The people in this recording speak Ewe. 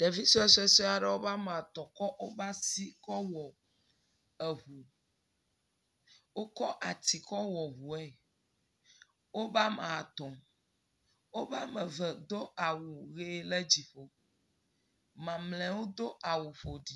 Ɖevi sue sue sue aɖewo woƒe ame etɔ̃ kɔ woƒe asi kɔ wɔ ŋu, eŋu. wokɔ ati kɔ wɔ ŋue . woƒe ame etɔ̃ woƒe ame eve do awu ʋe le dzi. mamlɛwo do awu ƒo ɖi.